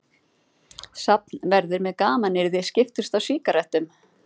Safnverðir með gamanyrði skiptust á sígarettum.